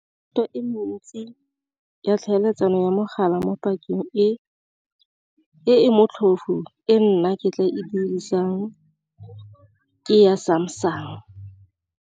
e mentsi ya tlhaeletsano ya mogala mo pakeng e e motlhofu, e nna ke tla e dirisang ke ya Samsung.